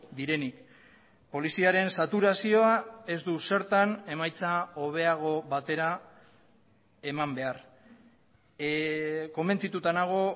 direnik poliziaren saturazioa ez du zertan emaitza hobeago batera eman behar konbentzituta nago